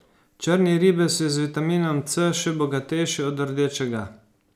Črni ribez je z vitaminom C še bogatejši od rdečega.